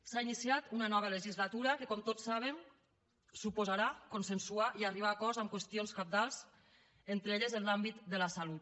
s’ha iniciat una nova legislatura que com tots saben suposarà consensuar i arribar a acords en qüestions cabdals entre les quals en l’àmbit de la salut